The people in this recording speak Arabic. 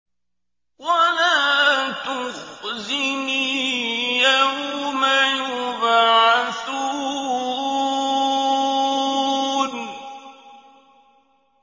وَلَا تُخْزِنِي يَوْمَ يُبْعَثُونَ